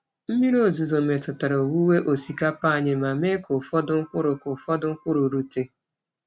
Mmiri ozuzo metụtara owuwe osikapa anyị ma mee ka ụfọdụ mkpụrụ ka ụfọdụ mkpụrụ rute.